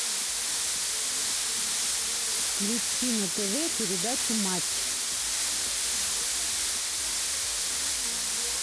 включи на тв передачу матч